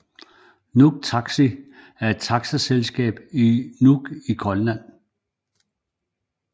Nuuk Taxi er et taxaselskab i Nuuk i Grønland